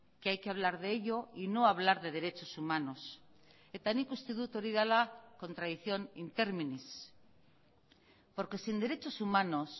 que hay que hablar de ello y no hablar de derechos humanos eta nik uste dut hori dela contradicción in terminis porque sin derechos humanos